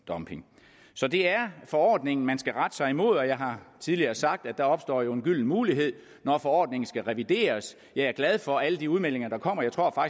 så det er forordningen man skal rette sig imod og jeg har tidligere sagt at der jo opstår en gylden mulighed når forordningen skal revideres jeg er glad for alle de udmeldinger der kommer jeg tror